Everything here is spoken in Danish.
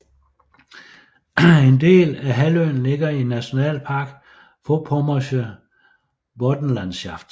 En del af halvøen ligger i Nationalpark Vorpommersche Boddenlandschaft